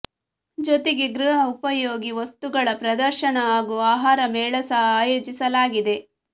ಜೊತೆಗೆ ಗೃಹ ಉಪಯೋಗಿ ವಸ್ತುಗಳ ಪ್ರದರ್ಶನ ಹಾಗೂ ಆಹಾರ ಮೇಳ ಸಹ ಆಯೋಜಿಸಲಾಗಿದೆ